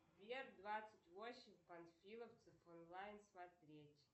сбер двадцать восемь панфиловцев онлайн смотреть